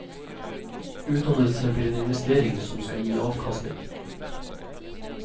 Utdannelse blir en investering som skal gi avkastning.